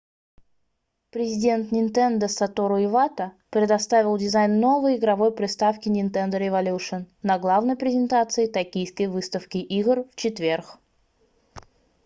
президент nintendo сатору ивата satoru iwata представил дизайн новой игровой приставки nintendo revolution на главной презентации токийской выставки игр в четверг